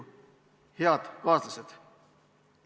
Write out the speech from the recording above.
Head kaaslased!